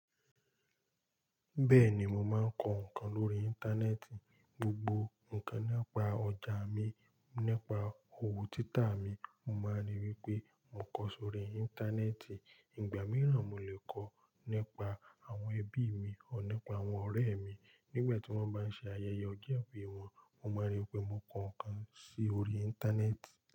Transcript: Bẹ́ẹ̀ni mo máa ń kọ ǹkan lórí Íńtánẹ́ẹ̀tì. Gbogbo ǹkan nípa ọjà mi, nípa òwò títà mi, mo máa ń rí i wípé mo kọ sórí Íńtánẹ́ẹ̀tì. Ìgbà mìíràn mo lè kọ nípa àwọn ẹbí mi ọr nípa àwọn ọ̀rẹ́ mi. Nígbà tí wọ́n bá ń ṣe ayẹyẹ ọjọ́ ìbí wọn, mo máa ń rí i wípé mo kọ ǹkan sí orí Íńtánẹ́ẹ̀tì.